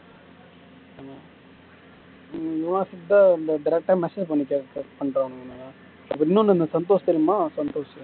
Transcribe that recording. உம் இவன்கிட்ட direct ஆ message பண்ணி கேக்க~ அப்பறம் இன்னொன்னு அந்த சந்தோஷ் தெரியுமா சந்தோஷ்